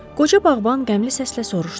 Qoca bağban qəmli səslə soruşdu.